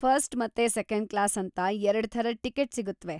First ಮತ್ತೆ second class ಅಂತ ಎರಡ್‌ ಥರದ್ ಟಿಕಿಟ್‌ ಸಿಗುತ್ವೆ.